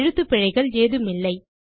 எழுத்துப் பிழைகள் ஏதுமில்லை